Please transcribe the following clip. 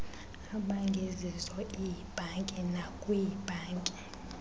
abangezizo iibhanki nakwiibhanki